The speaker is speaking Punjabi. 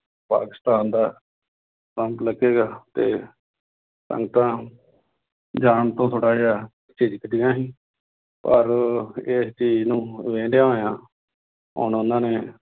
ਪਾਕਿਸਤਾਨ ਦਾ ਲੱਗੇਗਾ ਤੇ ਸੰਗਤਾਂ ਜਾਣ ਤੋਂ ਥੋੜ੍ਹਾ ਜਿਹਾ ਝਿਝਕਦੀਆਂ ਸੀ ਪਰ ਇਸ ਚੀਜ਼ ਨੂੰ ਲੈਂਦਿਆਂ ਹੋਇਆਂ ਹੁਣ ਉਹਨਾਂ ਨੇ